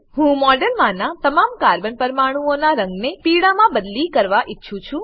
હું મોડેલમાનાં તમામ કાર્બન કાર્બન પરમાણુંઓનાં રંગને પીળામાં બદલી કરવા ઈચ્છું છું